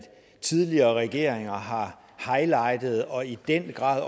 tidligere regeringer har highlighted og i den grad